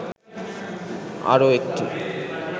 আরও একটি